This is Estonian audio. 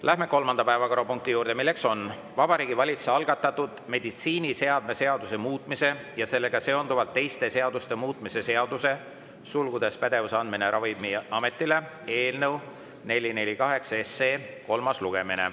Läheme kolmanda päevakorrapunkti juurde: Vabariigi Valitsuse algatatud meditsiiniseadme seaduse muutmise ja sellega seonduvalt teiste seaduste muutmise seaduse eelnõu 448 kolmas lugemine.